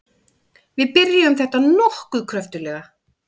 Við byrjuðum þetta nokkuð kröftuglega.